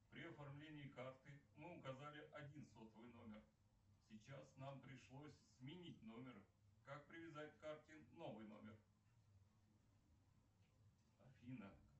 при оформлении карты мы указали один сотовый номер сейчас нам пришлось сменить номер как привязать к карте новый номер афина